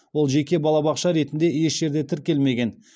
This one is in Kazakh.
ол жеке балабақша ретінде еш жерде тіркелмеген